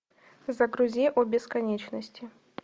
загрузи о бесконечности